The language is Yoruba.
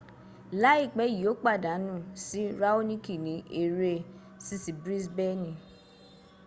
laipe yi o padanu si raoniki ni ere sisi brisbeni